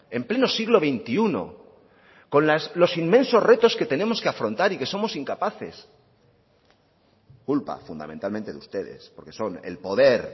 en pleno siglo veintiuno con los inmensos retos que tenemos que afrontar y que somos incapaces culpa fundamentalmente de ustedes porque son el poder